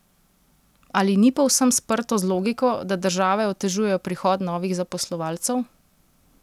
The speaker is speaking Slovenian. Ali ni povsem sprto z logiko, da države otežujejo prihod novih zaposlovalcev?